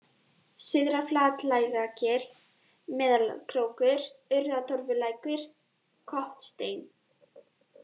Syðra-Flatlækjargil, Melakrókur, Urðartorfulækur, Kotsteinn